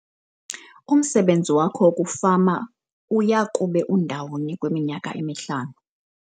Umsebenzi wakho wokufama uya kube undawoni kwiminyaka emihlanu?